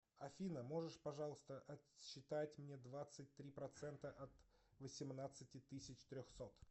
афина можешь пожалуйста отсчитать мне двадцать три процента от восемнадцати тысяч трехсот